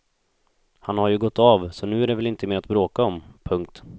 Han har ju gått av så nu är det väl inte mer att bråka om. punkt